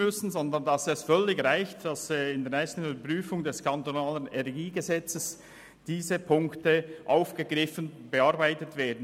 Es reicht völlig, wenn diese Punkte bei der nächsten Überprüfung des kantonalen Energiegesetzes (KEnG) aufgegriffen und bearbeitet werden.